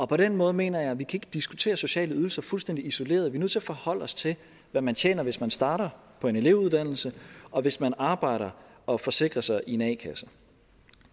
på den måde mener jeg at vi ikke kan diskutere sociale ydelser fuldstændig isoleret vi er nødt til at forholde os til hvad man tjener hvis man starter på en elevuddannelse og hvis man arbejder og forsikrer sig i en a kasse